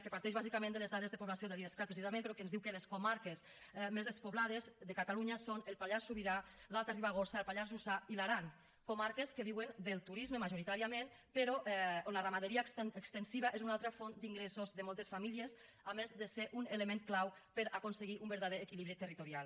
que parteix bàsicament de les dades de població de l’idescat precisament però que ens diu que les comarques més despoblades de catalunya són el pallars sobirà l’alta ribagorça el pallars jussà i l’aran comarques que viuen del turisme majoritàriament però on la ramaderia extensiva és una altra font d’ingressos de moltes famílies a més de ser un element clau per aconseguir un verdader equilibri territorial